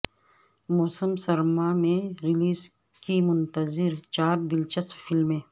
موسم سرما میں ریلیز کی منتظر چار دلچسپ فلمیں